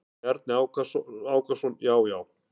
Bjarni Ákason: Já já.